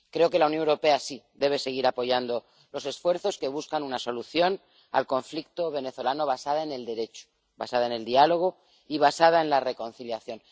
Creo que la Unión Europea sí debe seguir apoyando los esfuerzos que buscan una solución al conflicto venezolano basada en el Derecho, basada en el diálogo y basada en la reconciliación.